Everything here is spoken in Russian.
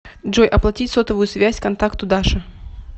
джой оплатить сотовую связь контакту даша